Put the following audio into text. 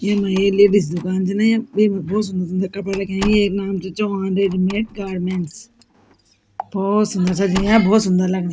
येमा एक लेडीज दुकान च न या येमा भोत सुन्दर सुन्दर कपड़ा रख्याँ येक नाम च चौहान रेडीमेड गारमेंट्स भोत सुन्दर सजीं या भोत सुन्दर लगणी।